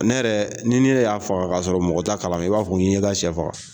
Ne yɛrɛ ni ne y'a faga k'a sɔrɔ mɔgɔ t'a kalama e b'a fɔ k'i ye ka sɛ faga